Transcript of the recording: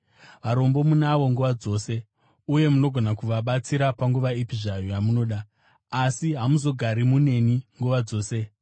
Varombo munavo nguva dzose, uye munogona kuvabatsira panguva ipi zvayo yamunoda. Asi hamuzogari muneni nguva dzose.